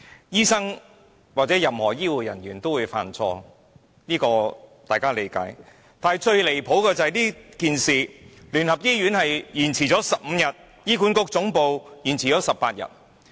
醫生或任何醫護人員也會犯錯，這是大家理解的，但最離譜的是，這件事聯合醫院延遲通知15天，而醫管局總部則延遲18天。